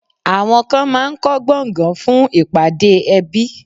Àwọn kan máá ń kọ́ gbọ̀ngàn fún ìpàdé ẹbí